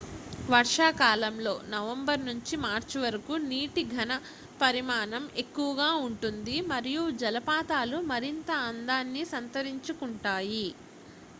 వర్షాకాలంలో నవంబర్ నుంచి మార్చి వరకు నీటి ఘన పరిమాణం ఎక్కువగా ఉంటుంది మరియు జలపాతాలు మరింత అందాన్ని సంతరించుకుంటాయి